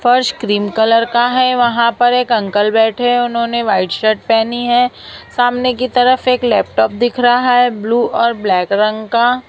फर्श cream colour का है वहां पर एक अंकल बैठे है उन्होंने व्हाइट शर्ट पहनी है सामने की तरफ एक लैपटॉप दिख रहा है ब्लू और ब्लैक रंग का--